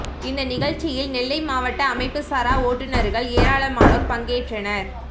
இந்த நிகழ்ச்சியில் நெல்லை மாவட்ட அமைப்பு சாரா ஓட்டுனர்கள் ஏராளமானோர் பங்கேற்றனர்